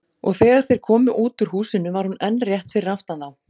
Og þegar þeir komu út úr húsinu var hún enn rétt fyrir aftan þá.